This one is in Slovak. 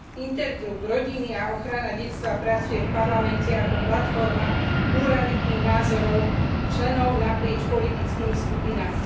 Skupina Intergroup pre rodinu a ochranu detstva pracuje v Parlamente ako platforma pluralitných názorov členov naprieč politickými skupinami.